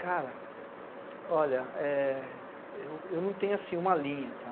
Cara, olha, eh... eu eu não tenho assim uma linha, tá?